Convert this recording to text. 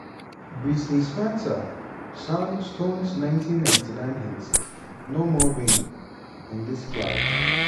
brittney spencer sang stone's 1999 hit "no more rain (in this cloud)."